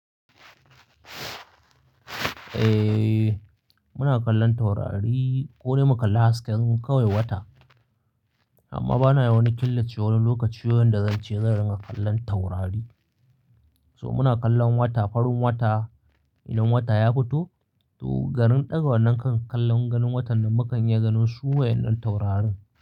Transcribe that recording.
Eh, muna kallon taurari ko dai mu kalla hasken kawai wata. Amma bana wani killace wani lokaci wanda zan ce zan ringa kallon taurari. So muna kallon wata, farin wata idan wata ya fito, to garin ɗaga wannan kan kallon garin watan nan mu kan iya ganin su wayen nan taurarin.